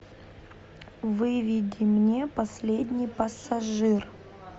выведи мне последний пассажир